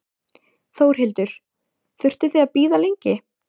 Þórhildur: Þurftuð þið að bíða lengi?